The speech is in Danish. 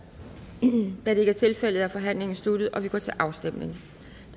da det ikke er tilfældet er forhandlingen sluttet og vi går til afstemning